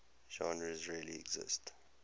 genres really exist